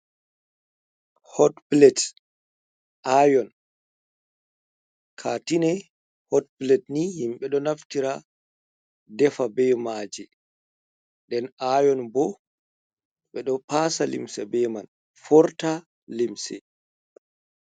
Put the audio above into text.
Hotplet aion katine hot plat ni himbe do naftira defa bey maji den ayon bo ɓe ɗo pasa limsi be man forta limsi.